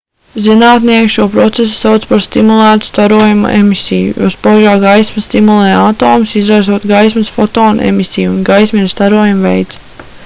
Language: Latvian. zinātnieki šo procesu sauc par stimulētu starojuma emisiju jo spožā gaisma stimulē atomus izraisot gaismas fotona emisiju un gaisma ir starojuma veids